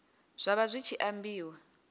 zwa vha zwi tshi ambiwa